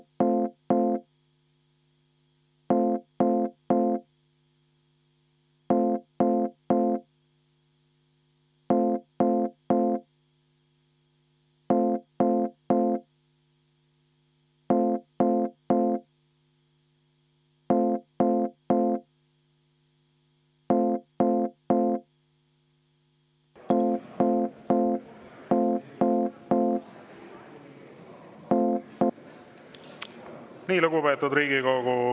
Nii, lugupeetud Riigikogu!